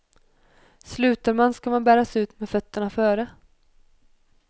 Slutar man ska man bäras ut med fötterna före.